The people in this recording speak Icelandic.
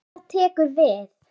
Og hvað tekur við?